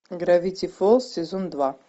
гравити фолз сезон два